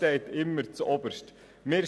Das steht immer an erster Stelle.